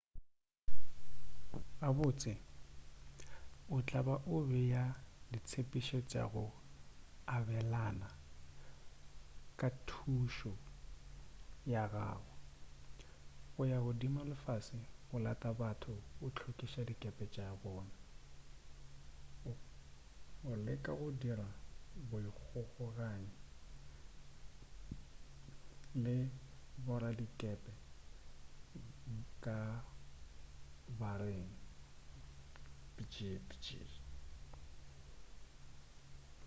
gabotse o tla ba o bea ditsebišo tša go abelana ka thušo ya gago o ya godimo le fase o lata batho o hlwekiša dikepe tša bona o leka go dira boikgokaganyi le boradikepe ka bareng bjbj